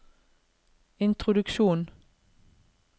introduksjon